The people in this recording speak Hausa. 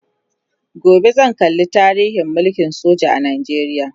gobe zan kalla tarihin mulkin soja a Najeriya